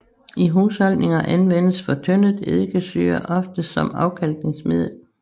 I husholdninger anvendes fortyndet eddikesyre ofte som afkalkningsmiddel